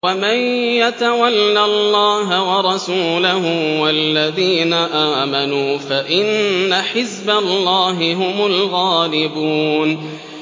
وَمَن يَتَوَلَّ اللَّهَ وَرَسُولَهُ وَالَّذِينَ آمَنُوا فَإِنَّ حِزْبَ اللَّهِ هُمُ الْغَالِبُونَ